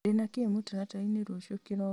ndĩna kĩ mũtaratara-inĩ rũciũ kĩroko